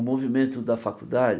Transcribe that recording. O movimento da faculdade...